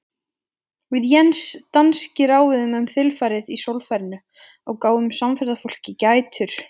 Við Jens danski ráfuðum um þilfarið í sólfarinu og gáfum samferðafólkinu gætur.